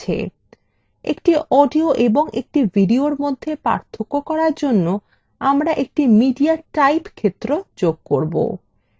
একটি audio এবং একটি videoin মধ্যে পার্থক্য করার জন্য আমরা একটি mediatype ক্ষেত্র যোগ করব